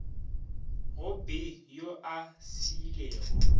go b yo a šiilego